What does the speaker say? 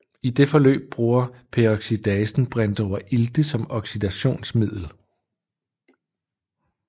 I det forløb bruger peroxidasen brintoverilte som oxidationsmiddel